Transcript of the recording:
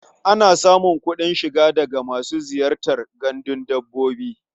Ana samun kuɗin shiga daga masu ziyartar gandun dabbobi.